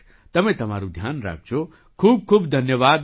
તમે તમારું ધ્યાન રાખજો ખૂબખૂબ ધન્યવાદ